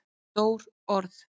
Stór orð?